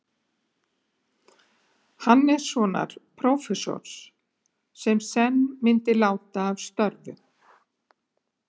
Hannessonar, prófessors, sem senn myndi láta af störfum.